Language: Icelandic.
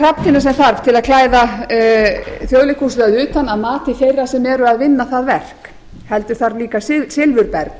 hrafntinna sem þarf til þess að klæða þjóðleikhúsið að utan að mati þeirra sem eru að vinna það verk heldur þarf líka silfurberg